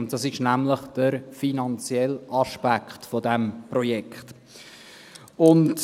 Und das ist nämlich der finanzielle Aspekt dieses Projekts.